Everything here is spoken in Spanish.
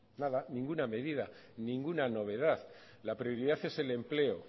nada ninguna medida ninguna novedad la prioridad es el empleo